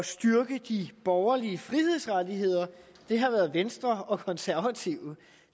styrke de borgerlige frihedsrettigheder har været venstre og konservative